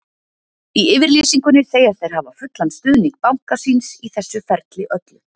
Í yfirlýsingunni segjast þeir hafa fullan stuðning banka síns í þessu ferli öllu.